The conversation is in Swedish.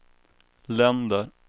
länder